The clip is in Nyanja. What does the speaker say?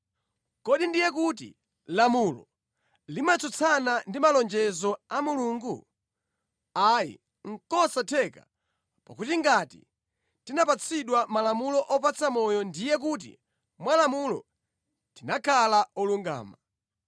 Kodi ndiye kuti lamulo limatsutsana ndi malonjezo a Mulungu? Ayi. Nʼkosatheka! Pakuti ngati tikanapatsidwa malamulo opatsa moyo ndiye kuti mwa lamulo tikanakhala olungama.